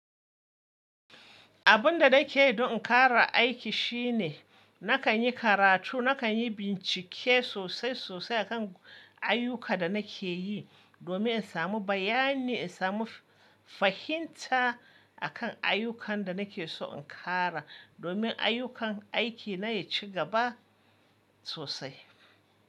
Abun da nake yi don in ƙara aiki shine nakan yi karatu, nakan yi bincike sosai sosai akan ayyuka da nake yi domin in samu bayani, in samu fahimta akan ayyukan da nake so in ƙara domin ayyukan aiki na ya ci gaba sosai.